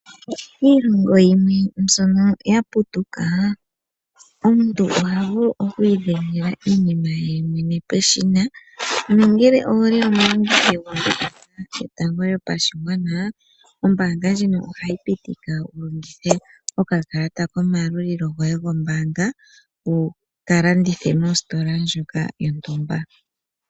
Kiilongo yimwe mbyono yaputuka omuntunoha vulu okwiidhengela iinima yemwene peshina. Ngele owuli omulongithi gwombanga yotango yopashigwana ohayi pitika wulongithe okakalata kayo mombaanga ndjoka yontumba.